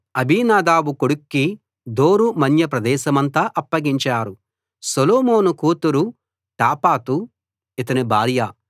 అబీనాదాబు కొడుక్కి దోరు మన్య ప్రదేశమంతా అప్పగించారు సొలొమోను కూతురు టాపాతు ఇతని భార్య